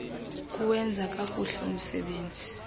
kuwenza kakuhle umsebenzi